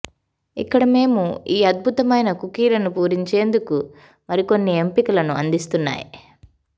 ఇక్కడ మేము ఈ అద్భుతమైన కుకీలను పూరించేందుకు మరికొన్ని ఎంపికలను అందిస్తున్నాయి